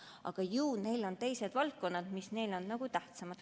Aga ju nende jaoks on teised valdkonnad tähtsamad.